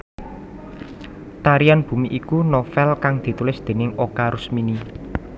Tarian Bumi iku novèl kang ditulis déning Oka Rusmini